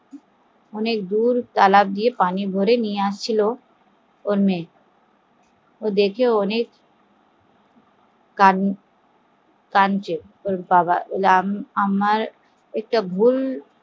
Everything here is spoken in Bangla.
দূর তালেব থেকে ওর মেয়ে জল টেনে আনছে দেখে ও কানাচে যে আমার একটা ভুল হয়ে গেলো